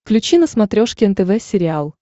включи на смотрешке нтв сериал